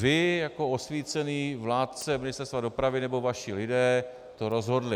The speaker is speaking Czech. Vy jako osvícený vládce Ministerstva dopravy nebo vaši lidé to rozhodli.